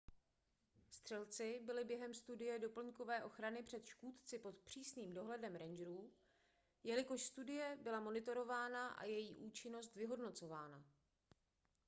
střelci byli během studie doplňkové ochrany před škůdci pod přísným dohledem rangerů jelikož studie byla monitorována a její účinnost vyhodnocována